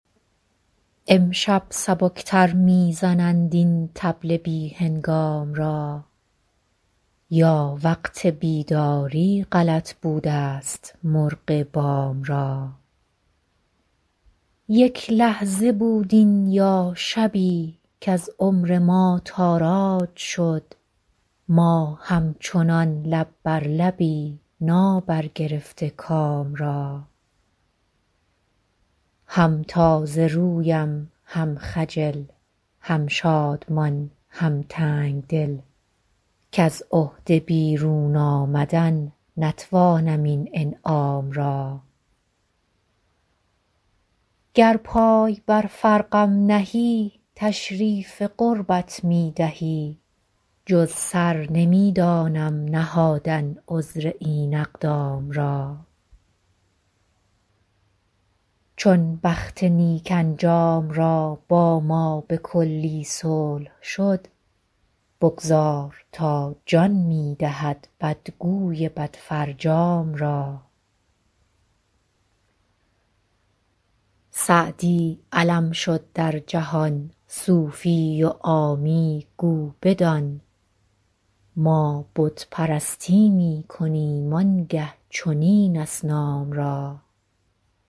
امشب سبک تر می زنند این طبل بی هنگام را یا وقت بیداری غلط بودست مرغ بام را یک لحظه بود این یا شبی کز عمر ما تاراج شد ما همچنان لب بر لبی نابرگرفته کام را هم تازه رویم هم خجل هم شادمان هم تنگ دل کز عهده بیرون آمدن نتوانم این انعام را گر پای بر فرقم نهی تشریف قربت می دهی جز سر نمی دانم نهادن عذر این اقدام را چون بخت نیک انجام را با ما به کلی صلح شد بگذار تا جان می دهد بدگوی بدفرجام را سعدی علم شد در جهان صوفی و عامی گو بدان ما بت پرستی می کنیم آن گه چنین اصنام را